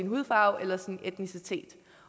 hudfarve eller etnicitet